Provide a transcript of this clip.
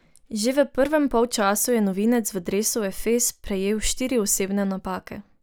Že v prvem polčasu je novinec v dresu Efes prejel štiri osebne napake.